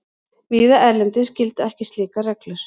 Víða erlendis gilda ekki slíkar reglur.